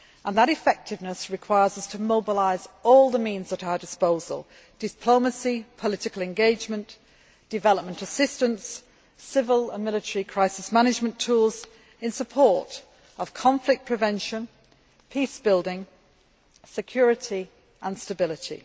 That effectiveness requires us to mobilise all the means at our disposal diplomacy, political engagement, development assistance, civil and military crisis management tools in support of conflict prevention, peace building, security and stability.